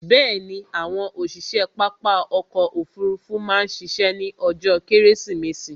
Bẹ̀ẹ̀ni, àwọn òṣiṣe pápá ọkò òfurufú má ṣiṣẹ́ ní ọjó kẹ́rẹ́sìmẹsì